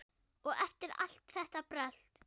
Og eftir allt þetta brölt!